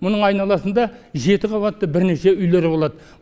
мұның айналасында жеті қабатты бірнеше үйлер болады